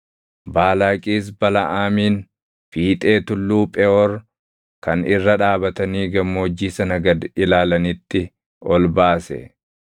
Baalaaqis Balaʼaamin fiixee tulluu Pheʼoor kan irra dhaabatanii gammoojjii sana gad ilaalanitti ol baase.